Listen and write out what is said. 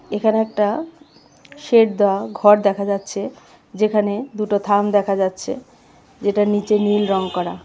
এখানে একটা শেড দেওয়া ঘর দেখা যাচ্ছে যেখানে দুটো থাম দেখা যাচ্ছে যেটার নীচে নীল রঙ করা .